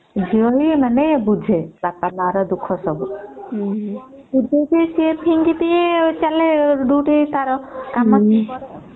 ଝିଅ ହିଁ ମାନେ ବୁଝେ ବାପା ମା ର ଦୁଖ୍ହ ସବୁ